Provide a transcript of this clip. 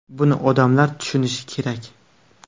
Buni odamlar tushunishi kerak.